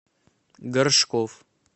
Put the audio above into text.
горшков